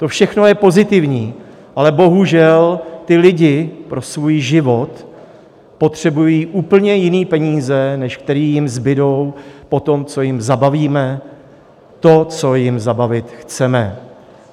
To všechno je pozitivní, ale bohužel ti lidé pro svůj život potřebují úplně jiné peníze, než které jim zbudou po tom, co jim zabavíme to, co jim zabavit chceme.